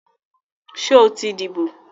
Sọ ti díbò?